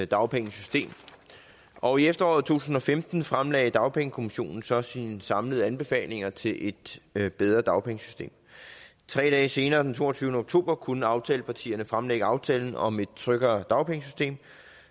dagpengesystem og i efteråret to tusind og femten fremlagde dagpengekommissionen så sine samlede anbefalinger til et bedre dagpengesystem tre dage senere den toogtyvende oktober kunne aftalepartierne fremlægge aftalen om et tryggere dagpengesystem